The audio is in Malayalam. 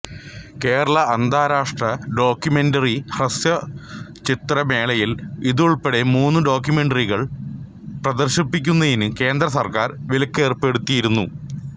കേരള അന്താരാഷ്ട്ര ഡോക്യുമെന്ററി ഹ്രസ്വസ്വചിത്ര മേളയിൽ ഇതുൾപ്പെടെ മൂന്ന് ഡോക്യുമെന്ററികൾ പ്രദർശിപ്പിക്കുന്നതിന് കേന്ദ്ര സർക്കാർ വിലക്കേർപ്പെടുത്തിയിരുന്നു